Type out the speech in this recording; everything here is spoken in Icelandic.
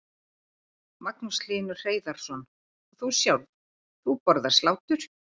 Magnús Hlynur Hreiðarsson: Og þú sjálf, þú borðar slátur?